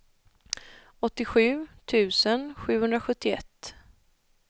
åttiosju tusen sjuhundrasjuttioett